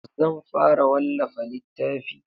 Zan fara wallafa littafi